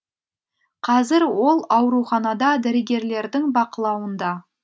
қазір ол ауруханада дәрігерлердің бақылауында